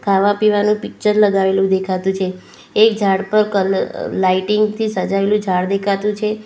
ખાવા પીવાનું પિક્ચર લગાવેલું દેખાતું છે એક ઝાડ પર કલ લાઇટિંગ થી સજાવેલું ઝાડ દેખાતું છે.